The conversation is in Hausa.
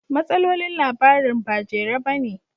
Matsalolin labarin ba jere ba ne